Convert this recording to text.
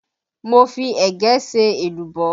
Mo fi ẹ̀gẹ́ ṣe èlùbọ́